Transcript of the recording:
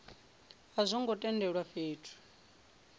a zwo ngo tendelwa fhethu